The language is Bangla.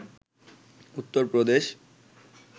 উত্তর প্রদেশ